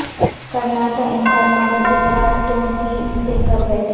کرنا تھا انکار مگر اقرار تم ہی سے کر بیٹھے